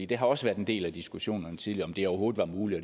det har også været en del af diskussionen tidligere om det overhovedet var muligt